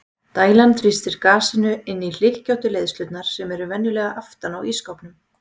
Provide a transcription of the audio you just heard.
Dælan þrýstir gasinu inn í hlykkjóttu leiðslurnar sem eru venjulega aftan á ísskápnum.